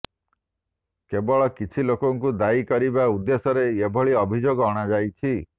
କେବଳ କିଛି ଲୋକଙ୍କୁ ଦାୟୀ କରିବା ଉଦ୍ଦେଶ୍ୟରେ ଏଭଳି ଅଭିଯୋଗ ଅଣାଯାଉଛି